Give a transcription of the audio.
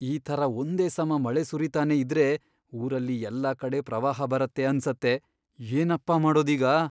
ಈ ಥರ ಒಂದೇ ಸಮ ಮಳೆ ಸುರೀತಾನೇ ಇದ್ರೆ ಊರಲ್ಲಿ ಎಲ್ಲಾ ಕಡೆ ಪ್ರವಾಹ ಬರತ್ತೆ ಅನ್ಸತ್ತೆ.. ಏನಪ್ಪಾ ಮಾಡೋದೀಗ!